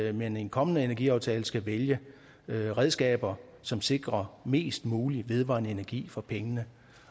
at man i en kommende energiaftale skal vælge redskaber som sikrer mest mulig vedvarende energi for pengene